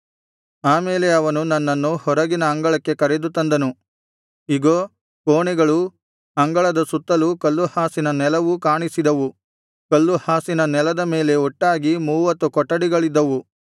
ಆ ಮೇಲೆ ಅವನು ನನ್ನನ್ನು ಹೊರಗಿನ ಅಂಗಳಕ್ಕೆ ಕರೆದು ತಂದನು ಇಗೋ ಕೋಣೆಗಳೂ ಅಂಗಳದ ಸುತ್ತಲೂ ಕಲ್ಲುಹಾಸಿದ ನೆಲವೂ ಕಾಣಿಸಿದವು ಕಲ್ಲುಹಾಸಿದ ನೆಲದ ಮೇಲೆ ಒಟ್ಟಾಗಿ ಮೂವತ್ತು ಕೊಠಡಿಗಳಿದ್ದವು